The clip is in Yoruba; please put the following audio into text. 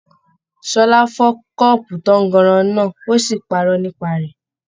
Ṣọlá fọ kọ́ọ́bú tànganran náà òsì parọ́ nípa rẹ.